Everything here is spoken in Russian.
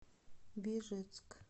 бежецк